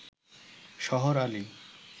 শহর আলি